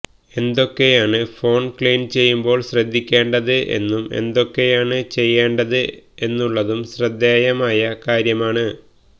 എന്തൊക്കെയാണ് phone clean ചെയ്യുമ്പോൾ ശ്രദ്ധിക്കേണ്ടത് എന്നും എന്തൊക്കെയാണ് ചെയ്യേണ്ടത് എന്നുള്ളതും ശ്രദ്ധേയമായ കാര്യമാണ്